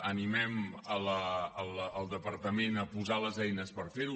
animem el departament a posar les eines per fer ho